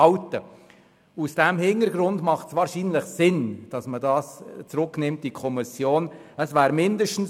Vor diesem Hintergrund macht es wahrscheinlich Sinn, den Artikel in die Kommission zurückzunehmen.